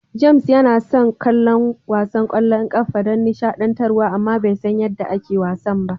James yana son kallon wasan ƙwallon ƙafa don nishaɗantar wa amma bai san yadda ake wasan ba.